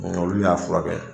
Olu y'a furakɛ.